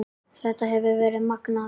Þetta hefur verið magnað.